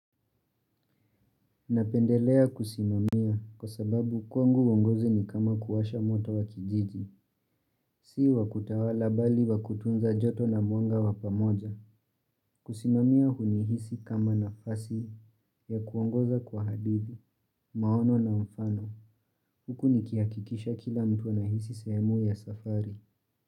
Napendelea kusimamia kwa sababu kwangu uongozi ni kama kuwasha moto wa kijiji, si wa kutawala bali wa kutunza joto na mwanga wa pamoja. Kusimamia hunihisi kama nafasi ya kuongoza kwa hadithi, maono na mfano. Huku nikihakikisha kila mtu anahisi sehemu ya safari.